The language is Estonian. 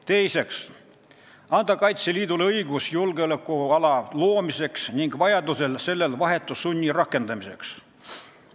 Teiseks tuleb anda Kaitseliidule õigus julgeolekuala loomiseks ning vajaduse korral sellel vahetu sunni rakendamiseks.